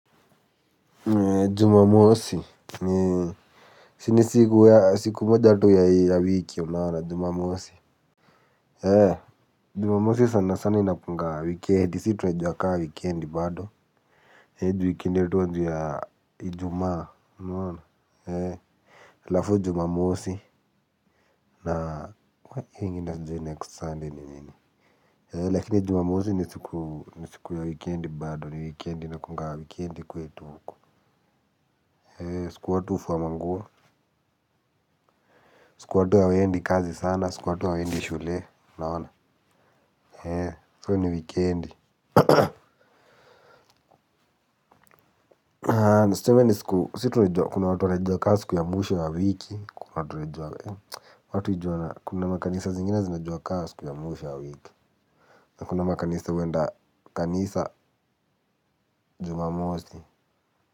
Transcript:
Jumamosi, ni siku moja tu ya wiki. Unaona? Jumamosi. Jumamosi sana sana inakunaga wikendi, si tunaiju ka wikendi bado. Eeh, ju wikendi yetu huanzia Ijumaa. Unaona? Halafu Jumamosi, na kwa hio nyingine nitaanzia 'next Sunday' ni nyingi. Lakini jumamosi ni siku ya wikendi bado, ni wikendi. Inakuaga wikendi kwetu huku. Eeeh, siku watu hufua manguo. Siku watu hawaendi kazi sana, siku watu hawaendi shule. Unaona? Eeeh, hio ni wikendi. Tuseme ni siku kuna watu wanaijua ka siku ya mwisho ya wiki, kuna watu wanaijua kuna makanisa zingine zinaijua ka siku ya mwisho ya wiki. Na kuna makanisa huenda Kanisa Jumamosi.